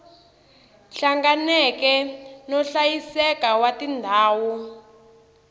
hlanganeke no hlayiseka wa tindhawu